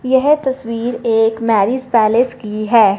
यह तस्वीर एक मैरिज पैलेस की है।